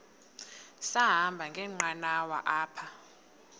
sahamba ngenqanawa apha